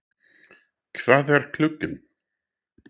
Hvað er klukkan?